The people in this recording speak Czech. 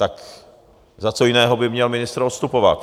Tak za co jiného by měl ministr odstupovat?